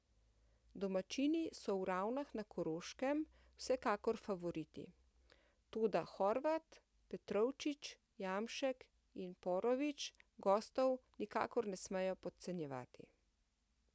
Domačini so v Ravnah na Koroškem vsekakor favoriti, toda Horvat, Petrovčič, Jamšek in Poročnik gostov nikakor ne smejo podcenjevati.